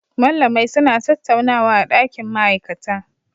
Mallamai suna tattaunawa a dakin ma'aikata